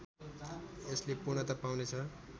यसले पूर्णता पाउने छ